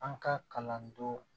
An ka kalan don